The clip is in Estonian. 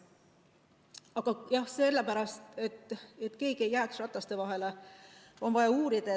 Aga sellepärast, et keegi ei jääks rataste vahele, on vaja uurida.